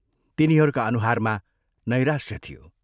तिनीहरूका अनुहारमा नैराश्य थियो।